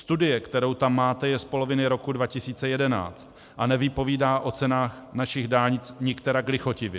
Studie, kterou tam máte, je z poloviny roku 2011 a nevypovídá o cenách našich dálnic nikterak lichotivě.